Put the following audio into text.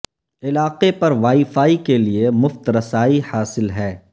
علاقہ پر wifi کے لئے مفت رسائی حاصل ہے